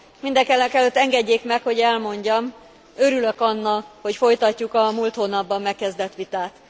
Mindenekelőtt engedjék meg, hogy elmondjam örülök annak, hogy folytatjuk a múlt hónapban megkezdett vitát.